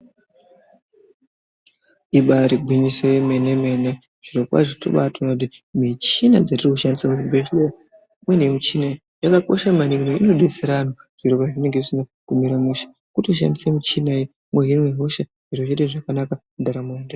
Ibaari gwinyiso yemene mene, zvirokwazvo tobaatoone kuti michina dzetirikushandisa muzvibhedhlera imweni yemichini iyi yakakosha maningi inodetsera anhu pezvinenge zvisina kumira mushe kutoshandisa michina yi mwohina hosha zviro zvoita zvakanaka mundaramo .